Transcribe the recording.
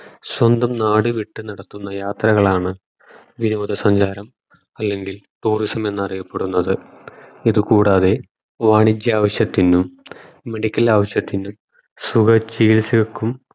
സ്വന്തം നാടു വിട്ടു നടത്തുന്ന യാത്രകളാണ് വിനോദ സഞ്ചാരം അല്ലെങ്കിൽ Tourism എന്നറിയപ്പെടുന്നത് ഇത് കൂടാതെ വാണിജ്യ ആവിശ്യത്തിനും Medical ആവശ്യത്തിനും സുഖ ചികിത്സക്കും